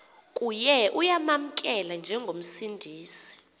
kuye uyamamkela njengomsindisi